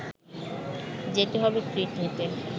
যেতে হবে ট্রিট নিতে